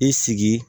I sigi